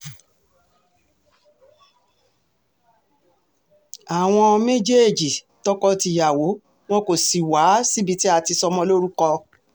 àwọn um méjèèjì tọkọ-tìyàwó wọn kò sì wá um síbi tí a ti sọmọ lórúkọ